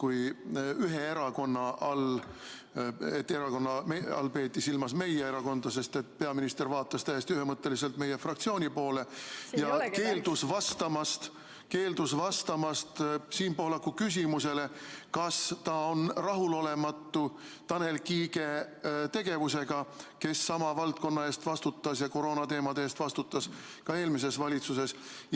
Selle ühe erakonna all peeti silmas meie erakonda, sest peaminister vaatas täiesti ühemõtteliselt meie fraktsiooni poole ja keeldus vastamast Siim Pohlaku küsimusele, kas ta on rahulolematu Tanel Kiige tegevusega, kes sama valdkonna eest, koroonateemade eest vastutas ka eelmises valitsuses.